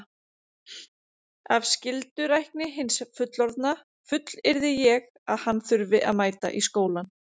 Af skyldurækni hins fullorðna fullyrði ég að hann þurfi að mæta í skólann.